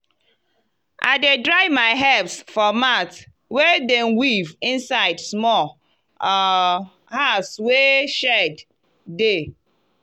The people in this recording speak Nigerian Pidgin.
i dey dry my herbs for mat wey dem weave inside small um house wey shade dey.